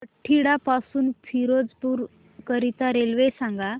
बठिंडा पासून फिरोजपुर करीता रेल्वे सांगा